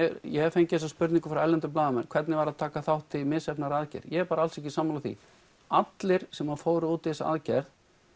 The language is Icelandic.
ég hef fengið þessa spurningu frá erlendum blaðamönnum hvernig var að taka þátt í misheppnaðri aðgerð ég er bara alls ekki sammála því allir sem fóru út í þessa aðgerð